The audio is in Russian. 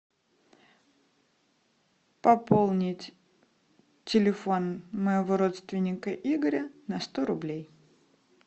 пополнить телефон моего родственника игоря на сто рублей